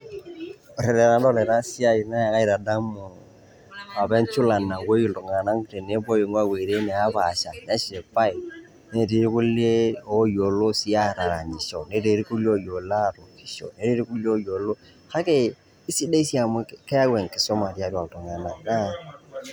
Ore tenadol ena siai naa kaitadamu apa enchula napuoi iltunganak tenepuo iwuejitin neepaasha ,neshipae , netii kulie oyiolo si ataranyisho ,netii irkulie oyiolo . Kake sidai si amu keyau enkisuma tiatua iltunganak naa .